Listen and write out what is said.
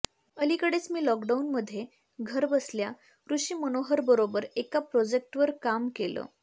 अलीकडेच मी लॉकडाउनमध्ये घरबसल्या ऋषी मनोहरबरोबर एका प्रोजेक्टवर काम केलं